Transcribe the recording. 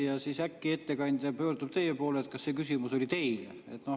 Ja siis äkki ettekandja pöördub teie poole, et kas see küsimus oli teile.